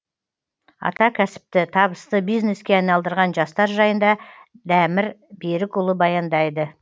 атакәсіпті табысты бизнеске айналдырған жастар жайында дәмір берікұлы баяндайды